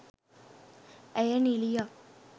ඇය නිළියක්